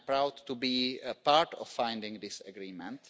I am proud to be a part of finding this agreement.